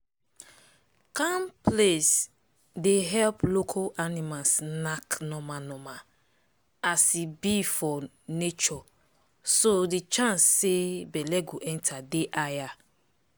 calm place day help local animals knack normal normal as he be for natureso the chance say belle go enter day higher.